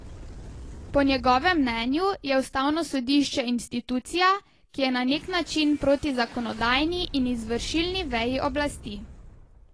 Po njegovem mnenju je ustavno sodišče institucija, ki je na nek način proti zakonodajni in izvršilni veji oblasti.